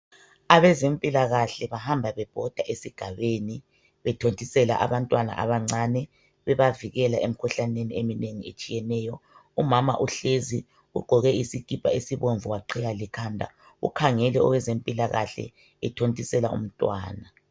Abezempilakahle bahamba bebhoda esigabeni bethontisela abantwana abancane bebavikela emkhuhlaneni eminengi etshiyeneyo . Umama uhlezi ugqoke isikipa esibomvu waqhiya lekhanda ukhangele owezempilakahle ethontisela umntwana.